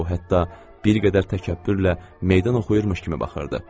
O hətta bir qədər təkəbbürlə meydan oxuyurmuş kimi baxırdı.